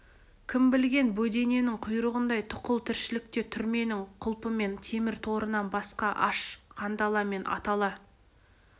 кім білген бөдененің құйрығындай тұқыл тіршілікте түрменің құлпы мен темір торынан басқа аш қандала мен атала